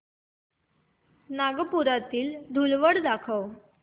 नागपुरातील धूलवड दाखव